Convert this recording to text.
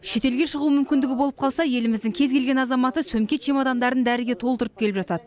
шетелге шығу мүмкіндігі болып қалса еліміздің кез келген азаматы сөмке чемодандарын дәріге толтырып келіп жатады